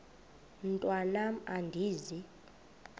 mntwan am andizi